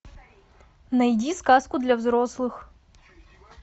найди сказку для взрослых